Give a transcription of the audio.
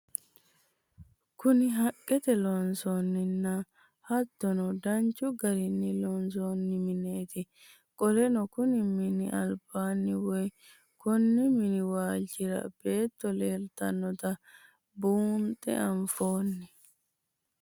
Kuni haaqet loonsonina hatono danchu garini loonsoni mineti qoleno konni mini aliban woyi Koni mini walichira beeto leelitanoota bunxe anfeno?